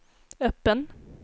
öppen